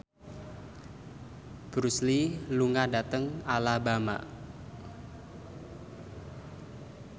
Bruce Lee lunga dhateng Alabama